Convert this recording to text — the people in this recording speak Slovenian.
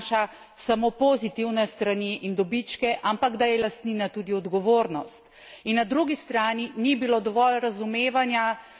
Ni bilo dovolj zavedanja, da lastnina ne prinaša samo pozitivne strani in dobičke, ampak da je lastnina tudi odgovornost.